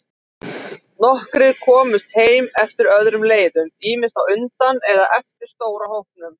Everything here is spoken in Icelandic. Nokkrir komust heim eftir öðrum leiðum, ýmist á undan eða eftir stóra hópnum.